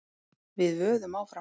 Við vöðum áfram.